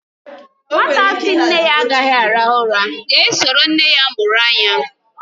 Nwata sị nne ya agaghị arahu ura ga-eso nne ya mụrụ anya.